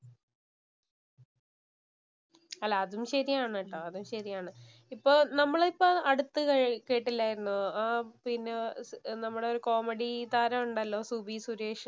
അല്ല അതും ശരിയാണ് ട്ടോ അതും ശരിയാണ്. ഇപ്പോ നമ്മൾ ഇപ്പോൾ അടുത്ത് കേട്ടില്ലാരുന്നോ ആഹ് പിന്നെ നമ്മുടെ ഒരു കോമഡി താരം ഉണ്ടല്ലോ. സുബി സുരേഷ്